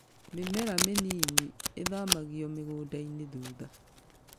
Mĩmera mĩnini ĩthamagĩrio mũgũndainĩ thutha.